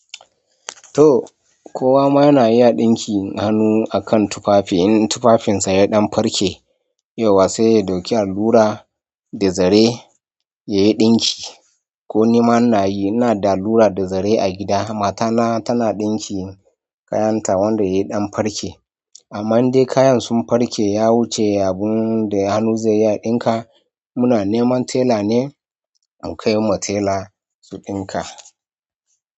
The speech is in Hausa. Toj, kowa ma na iya ɗinkin hannu akan tufafi in tufafinsa yaɗan farke. Yauwa sai ya ɗauki allura da zare yayi ɗinki. Ko ni ma na yi, ina da allura da zare a gida. Mata na tana ɗinki kayanta wanda yayi ɗan farke. Amma in dai kayan sun farke ya wuce abun da hannu zai iya ɗinka muna neman tela ne in kai ma tela su ɗinka.